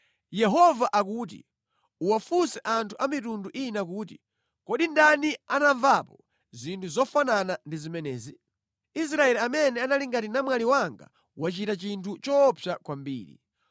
Yehova akuti, “Uwafunse anthu a mitundu ina kuti: Kodi ndani anamvapo zinthu zofanana ndi zimenezi? Israeli amene anali ngati namwali wanga wachita chinthu choopsa kwambiri.